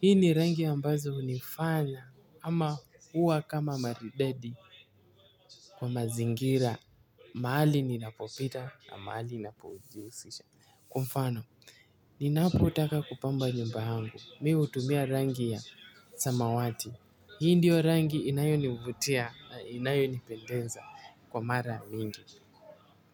Hii ni rangi ambazo hunifanya ama huwa kama maridadi kwa mazingira mahali ninapopita na mahali ninapojihusisha. Kwa mfano, ninapotaka kupamba nyumba yangu, mi hutumia rangi ya samawati. Hii ndiyo rangi inayonivutia, inayonipendeza kwa mara mingi.